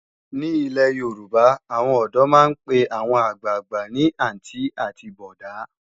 Ní ilé Yorùbá, àwọn ọ̀dọ́ máa ń pe àwọn àgbàgbà ní àntí àti bọ̀ọ̀dá“